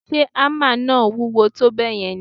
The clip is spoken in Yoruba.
Ṣe hámà náà wúwo tó bẹ́ẹ̀ yẹn ni?